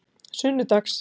sunnudags